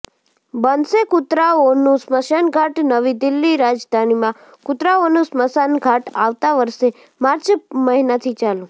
બનશે કૂતરાઓનું સ્મશાન ઘાટ નવી દિલ્હીઃ રાજધાનીમાં કૂતરાઓનું સ્મશાન ઘાટ આવતા વર્ષે માર્ચ મહિનાથી ચાલુ